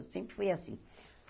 Eu sempre fui assim.